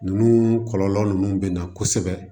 Ninnu kɔlɔlɔ ninnu bɛ na kosɛbɛ